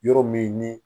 Yɔrɔ min ni